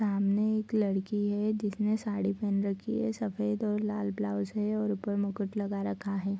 सामने एक लड़की है जिसने साड़ी पहेन रखी है सफ़ेद और लाल ब्लाउज है और ऊपर मुकुट लगा रखा है।